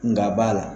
Nka b'a la